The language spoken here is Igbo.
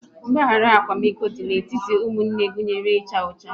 Mgbahara akwamiko dị n'etiti ụmụnne gụnyere ịchụ ọchụ